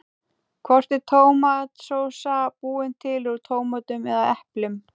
Hvort er tómatsósa búin til úr tómötum eða eplum?